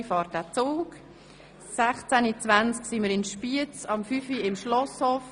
Um 16.20 werden wir in Spiez eintreffen und um 17 Uhr erreichen wir das Schloss.